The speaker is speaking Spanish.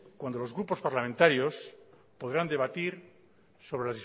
cuando los grupos parlamentarios podrán debatir sobre